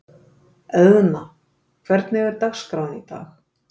Eðna, hvernig er dagskráin í dag?